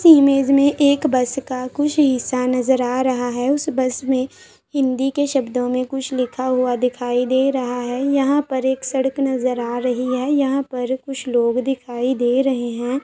इस इमेज में एक बस का कुछ हिस्सा नज़र आ रहा हैं उस बस में हिंदी के शब्दों में कुछ लिखा हुआ दिखाई दे रहा हैं यहा पर एक सड़क नजर आ रही हैं यहाँ पर कुछ लोग दिखाई दे रहे हैं।